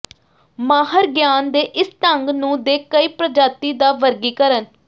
ਮਾਹਰ ਗਿਆਨ ਦੇ ਇਸ ਢੰਗ ਨੂੰ ਦੇ ਕਈ ਪ੍ਰਜਾਤੀ ਦਾ ਵਰਗੀਕਰਨ